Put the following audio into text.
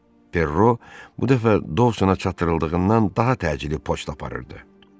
Perro bu dəfə Dousona çatdırıldığından daha təcili poçt aparırdı.